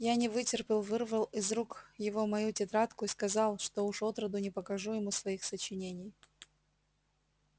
я не вытерпел вырвал из рук его мою тетрадку и сказал что уж отроду не покажу ему своих сочинений